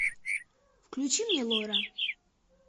включи мне лора